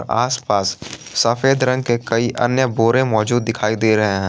आसपास सफेद रंग के कई अन्य बोरे मौजूद दिखाई दे रहे हैं।